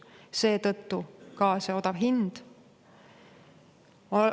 Seetõttu ka see odav hind.